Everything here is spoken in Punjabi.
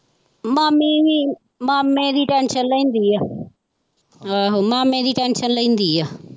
ਮਾਮੀ ਵੀ ਮਾਮੇ ਦੀ tension ਲੈਂਦੀ ਆ ਆਹੋ ਮਾਮੇ ਦੀ tension ਲੈਂਦੀ ਆ।